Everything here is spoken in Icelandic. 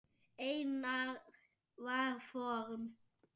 Einar var form.